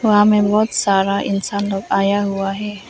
वहां में बहोत सारा इंसान लोग आया हुआ है।